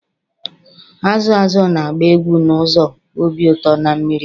Azụ azụ na-agba egwu n'ụzọ obi ụtọ na mmiri